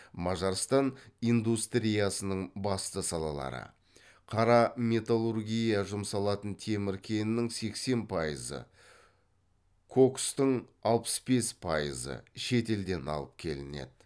мажарстан индустриясының басты салалары қара металлургияға жұмсалатын темір кенінің сексен пайызы кокстың алпыс бес пайызы шетелден алып келінеді